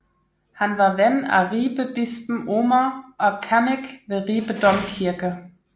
Han var ven af Ribebispen Omer og kannik ved Ribe Domkirke